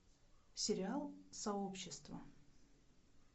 сериал сообщество